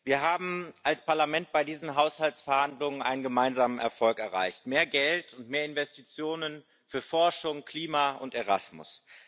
Wir haben als Parlament bei diesen Haushaltsverhandlungen einen gemeinsamen Erfolg erreicht mehr Geld und mehr Investitionen für Forschung, Klima und Erasmus.